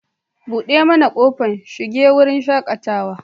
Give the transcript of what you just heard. Buɗe mana kofar shiga wurin shaƙatawar.